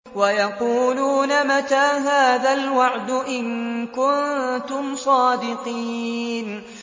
وَيَقُولُونَ مَتَىٰ هَٰذَا الْوَعْدُ إِن كُنتُمْ صَادِقِينَ